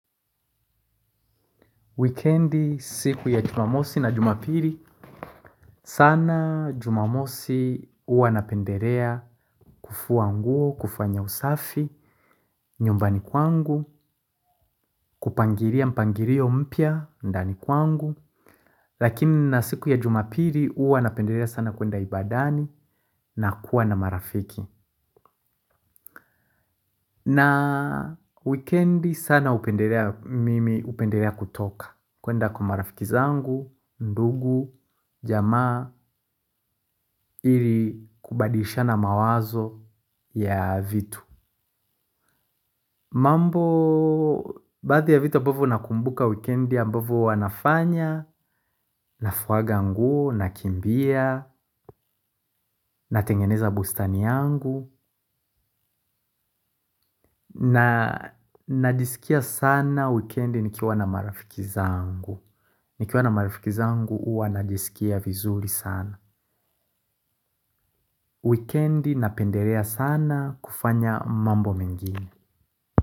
Wikiendi, siku ya jumamosi na jumapili, sana jumamosi huwa napendelea kufua nguo, kufanya usafi, nyumbani kwangu, kupangilia mpangilio mpya, ndani kwangu, lakini na siku ya jumapili huwa napendelea sana kwenda ibadani na kuwa na marafiki. Na wikiendi sana upendelea mimi upendelea kutoka kwenda kwa marafiki zangu, ndugu, jamaa, ili kubadilishana mawazo ya vitu. Mambo, baadhi ya vitu ambavyo nakumbuka wikiendi ya ambavyo wanafanya. Nafuwaga nguo, na kimbia, na tengeneza bustani yangu. Na najisikia sana wikiendi nikiwa na marafiki zangu. Nikiwa na marifiki zangu huwa na jisikia vizuri sana. Weekendi napendelea sana kufanya mambo mingine.